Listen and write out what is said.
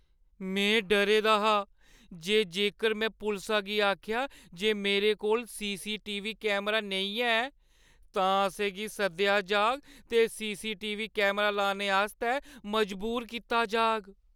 में डरे दा हा जे जेकर में पुलसा गी आखेआ जे मेरे कोल सीसीटीवी कैमरा नेईं है तां असें गी सद्देआ जाह्‌ग ते सीसीटीवी कैमरा लाने आस्तै मजबूर कीता जाह्‌ग।